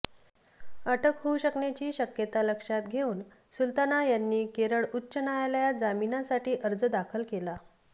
अटक होऊ शकण्याची शक्यता लक्षात घेऊन सुल्ताना यांनी केरळ उच्च न्यायालयात जामिनासाठी अर्ज दाखल केला